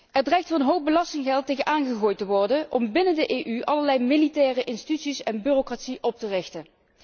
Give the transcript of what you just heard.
Er dreigt een hoop belastinggeld tegenaan gegooid te worden om binnen de EU allerlei militaire instituties en bureaucratie op te richten.